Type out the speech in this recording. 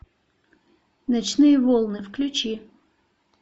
ночные волны включи